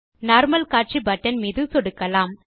normal காட்சி button மீது சொடுக்கலாம்